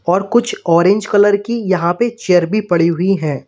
और कुछ orange colour की यहां पे चेयर भी पड़ी हुई हैं।